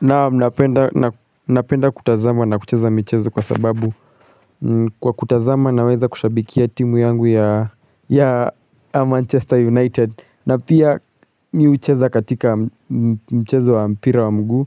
Naam napenda kutazama na kucheza mchezo kwa sababu kwa kutazama na weza kushabikia timu yangu ya Manchester United na pia ni ucheza katika mchezo wa mpira wa mguu